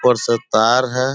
ऊपर से तार है।